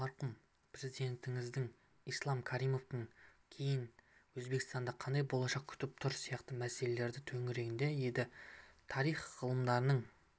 марқұм президентіңіз ислам каримовтен кейін өзбекстанды қандай болашақ күтіп тұр сияқты мәселелер төңірегінде еді тарих ғылымдарының